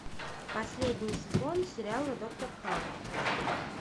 последний сезон сериала доктор хаус